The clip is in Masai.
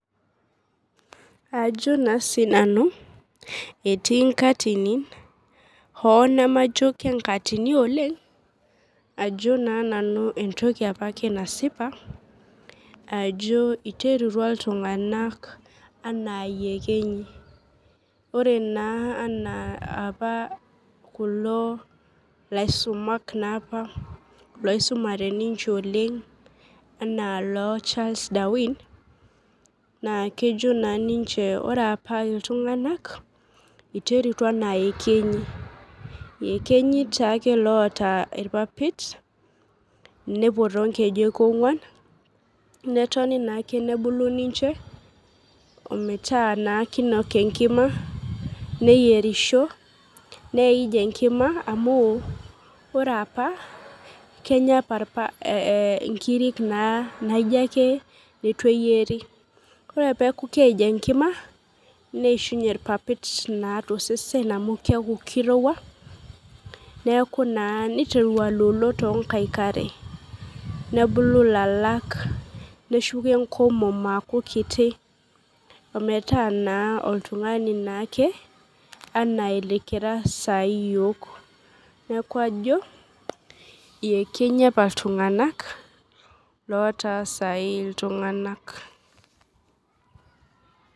Ajo naa sinanu etii nkatinin hoo nemajo kenkatini oleng ajo naa nanu entoki apake nasipa ajo iterutua iltung'anak anaa iyekenyi ore naa anaa apa kulo laisumak naa apa loisumate ninche oleng anaa iloo Charles darwin naa kejo naa ninche ore apa iltung'anak naa iterutua anaa iyekenyik iyekenyi taake loota irpapit nepuo tonkejek ong'uan netoni naake nebulu ninche ometaa naa kinok enkima neyierisho neij enkima amu ore apa kenya apa irpa eh inkirik naijo ake netu eyieri ore peeku keij enkima neishunye irpapit naa tosesen amu keeku kirowua neeku na niteru aloolo tonkaik are nebulu ilalak neshuko enkomom aaku kiti ometaa naa oltung'ani naake anaa ilikira sai iyiok neku ajo iyekenyi apa iltung'anak lotaa sai iltung'anak.